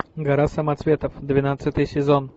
гора самоцветов двенадцатый сезон